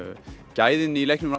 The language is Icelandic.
gæðin í leiknum